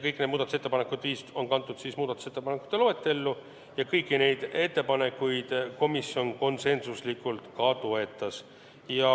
Kõik need muudatusettepanekud on kantud muudatusettepanekute loetellu ja kõiki ettepanekuid toetas komisjon konsensuslikult.